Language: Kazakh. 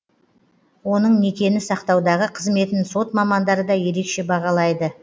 оның некені сақтаудағы қызметін сот мамандары да ерекше бағалайды